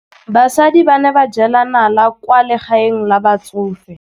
Basadi ba ne ba jela nala kwaa legaeng la batsofe.